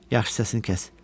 Yaxşı səsini kəs.